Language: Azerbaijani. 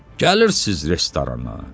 Gəlirsiz restorana.